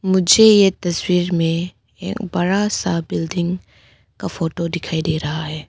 मुझे ये तस्वीर में एक बड़ा सा बिल्डिंग का फोटो दिखाई दे रहा है।